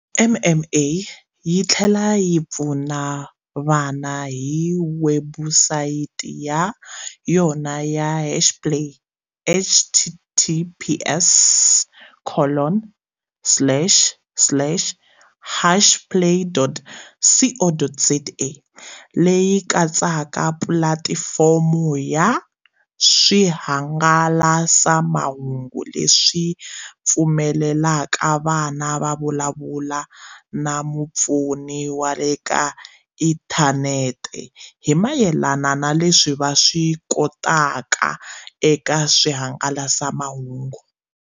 MMA yi tlhela yi pfuna vana hi webusayiti ya yona ya Hashplay, https colon slash slash hashplay.co.za, leyi katsaka pulatifomo ya swihangalasamahungu leswi pfumelelaka vana ku vulavula na mupfuni wa le ka inthanete hi mayelana na leswi va swi tokotaka eka swihangalasamahungu.